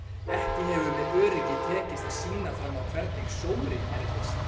Ekki hefur með öryggi tekist að sýna fram á hvernig sóri erfist.